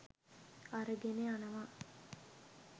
අරගෙන යනවා.